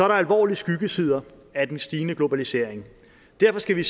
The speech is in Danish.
der alvorlige skyggesider af den stigende globalisering og derfor skal vi